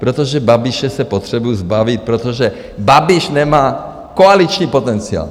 Protože Babiše se potřebují zbavit, protože Babiš nemá koaliční potenciál.